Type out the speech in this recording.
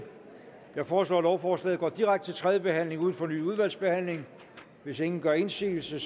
jeg foreslår at lovforslaget går direkte til tredje behandling uden fornyet udvalgsbehandling hvis ingen gør indsigelse